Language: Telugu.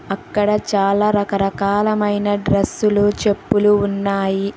అక్కడ చాలా రకరకాల మైన డ్రస్సులు చెప్పులు ఉన్నాయి.